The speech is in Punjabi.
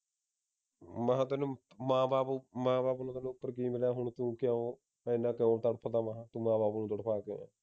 ਮੈਂ ਤੈਨੂੰ ਮਾਂ ਬਾਪ ਮਾਂ ਬਾਪ ਤੈਨੂੰ ਕੀ ਮਿਲਿਆ ਹੁਣ ਤੂੰ ਕਿਉ ਇੰਨਾ ਕਿਉਂ ਤੜਫਦਾ ਵਾ ਤੂੰ ਮਾਂ ਬਾਪ ਨੂੰ ਤੜਫ ਕੇ